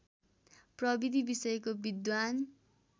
प्रविधि विषयको विद्वान्